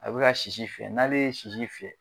A bi ka sisi fiyɛ n'ale ye sisi fiyɛ.